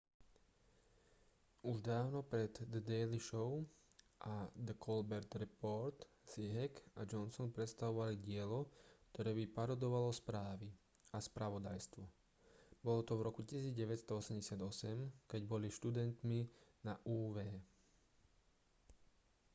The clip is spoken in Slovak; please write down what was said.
už dávno pred the daily show a the colbert report si heck a johnson predstavovali dielo ktoré by parodovalo správy a spravodajstvo bolo to v roku 1988 keď boli študentmi na uw